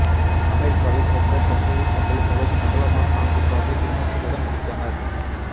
அமெரிக்காவை சேர்ந்த தந்தையும் மகளும் உலகின் அகலமான நாக்குக்காக கின்னஸில் இடம்பிடித்தனர்